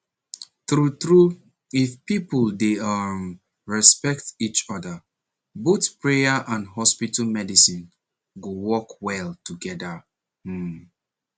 true true if people dey um respect each other both prayer and hospital medicine go work well together um